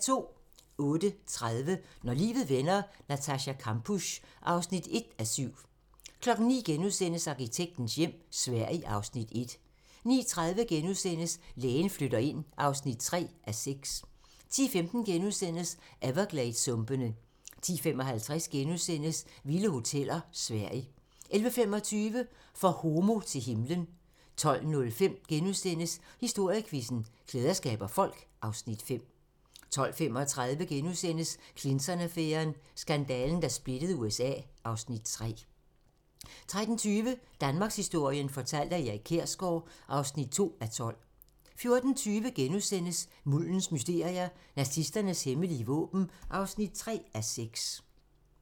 08:30: Når livet vender: Natascha Kampusch (1:7) 09:00: Arkitektens hjem - Sverige (Afs. 1)* 09:30: Lægen flytter ind (3:6)* 10:15: Evergladessumpene * 10:55: Vilde hoteller: Sverige * 11:25: For homo til himlen 12:05: Historiequizzen: Klæder skaber folk (Afs. 5)* 12:35: Clinton-affæren: Skandalen, der splittede USA (Afs. 3)* 13:20: Danmarkshistorien fortalt af Erik Kjersgaard (2:12) 14:20: Muldens mysterier - Nazisternes hemmelige våben (3:6)*